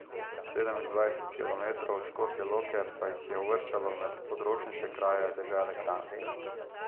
Sedemindvajset kilometrov od Škofje Loke pa jih je uvrščalo med odročnejše kraje dežele Kranjske.